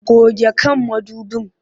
Goge kan mudubin!